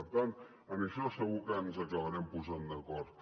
per tant en això segur que ens acabarem posant d’acord